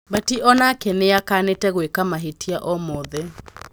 Batĩ onake nĩakanĩte gwıka mahĩtia o mothe.